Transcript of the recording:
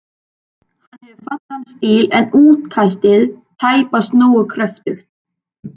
Hann hefur fallegan stíl, en útkastið tæpast nógu kröftugt.